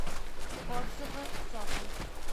отзывы цоколь